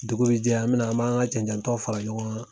Dugu bi jɛ an mina, an m'an ka jan jantɔw fara ɲɔgɔn kan